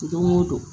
Don o don